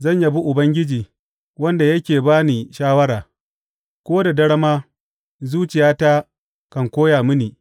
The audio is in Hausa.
Zan yabi Ubangiji, wanda yake ba ni shawara; ko da dare ma zuciyata kan koya mini.